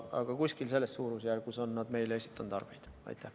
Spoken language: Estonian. Aga kuskil selles suurusjärgus on nad meile arveid esitanud.